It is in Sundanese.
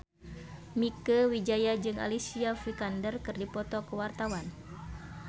Mieke Wijaya jeung Alicia Vikander keur dipoto ku wartawan